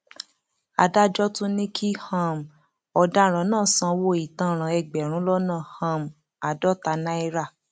adájọ tún ní kí um ọdaràn náà sanwó ìtanràn ẹgbẹrún lọnà um àádọta náírà